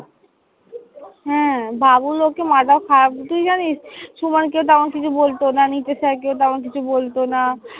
হ্যাঁ। বাবুল ওকে মাথা খারাপ, তুই জানিস সুমনকে তখন কিছু বলতো না নিচে sir কে তেমন কিছু বলতো না।